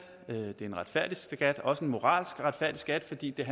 en retfærdig skat også en moralsk retfærdig skat fordi den